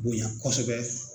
Bonya kɔsɛbɛ